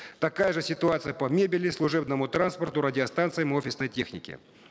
такая же ситуация по мебели служебному транспорту радиостанциям офисной технике